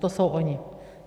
To jsou oni.